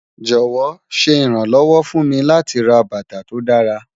Jọwọ, ṣe iranlọwọ fun mi lati rà bátà tó dàra